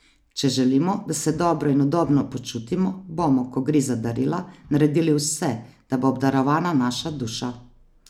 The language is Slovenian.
Če želimo, da se dobro in udobno počutimo, bomo, ko gre za darila, naredili vse, da bo obdarovana naša duša.